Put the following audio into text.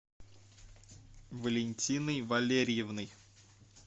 валентиной валерьевной